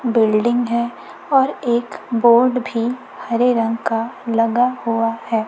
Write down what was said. Building है और एक बोर्ड भी हरे रंग का लगा हुआ है।